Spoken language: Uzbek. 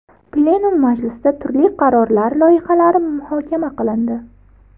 Plenum majlisida turli qarorlar loyihalari muhokama qilindi.